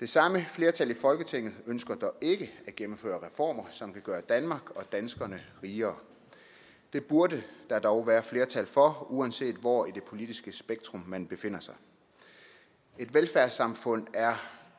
det samme flertal i folketinget ønsker dog ikke at gennemføre reformer som vil gøre danmark og danskerne rigere det burde der dog være flertal for uanset hvor i det politiske spektrum man befinder sig et velfærdssamfund er